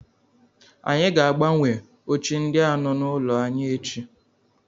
Anyị ga- agbanwe oche ndi a nọ n'ụlọ anyị echi.